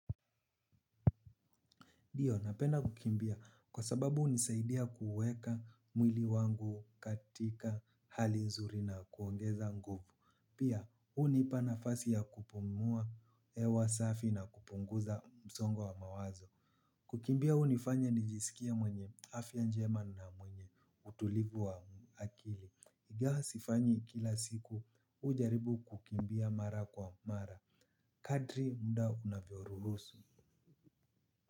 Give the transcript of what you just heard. Ndio, napenda kukimbia kwa sababu unisaidia kuweka mwili wangu katika hali nzuri na kuongeza nguvu. Pia, unipanafasi ya kupumua hewa safi na kupunguza msongo wa mawazo. Kukimbia unifanya nijiskie mwenye afya njema na mwenye utulivu wa akili. Igawa sifanyi kila siku, ujaribu kukimbia mara kwa mara. Kadri mda unavyoruhusu.